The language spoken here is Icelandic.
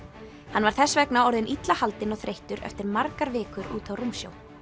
hann var þess vegna orðinn illa haldinn og þreyttur eftir margar vikur úti á rúmsjó